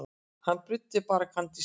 Hann bruddi bara kandísinn.